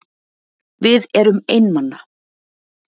Við erum einmana.